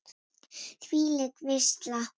Þvílík veisla.